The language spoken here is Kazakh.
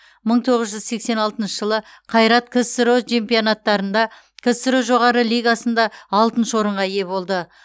мың тоғыз жүз сексен алтыншы жылы қайрат ксро чемпионаттарында ксро жоғары лигасында алтыншы орынға ие болды